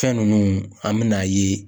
Fɛn ninnu, an bɛna a ye.